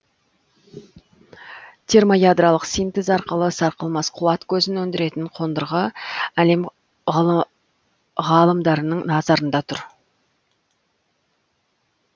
термоядролық синтез арқылы сарқылмас қуат көзін өндіретін қондырғы әлем ғалымдарының назарында тұр